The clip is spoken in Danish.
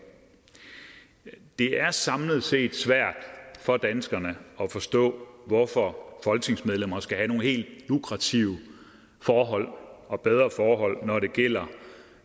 det er samlet set svært for danskerne at forstå hvorfor folketingsmedlemmer skal have nogle helt lukrative forhold og nogle bedre forhold når det gælder